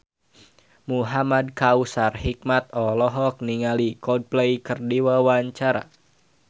Muhamad Kautsar Hikmat olohok ningali Coldplay keur diwawancara